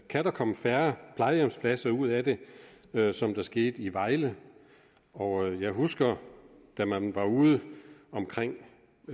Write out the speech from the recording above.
kan der komme færre plejehjemspladser ud af det ligesom det skete i vejle og jeg husker da man var ude